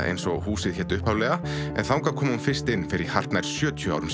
eins og húsið hét upphaflega en þangað kom hún fyrst inn fyrir hartnær sjötíu árum